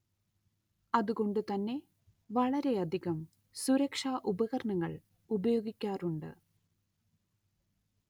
അതുകൊണ്ട് തന്നെ വളരെയധികം സുരക്ഷ ഉപകരണങ്ങൾ ഉപയോഗിക്കാറുണ്ട്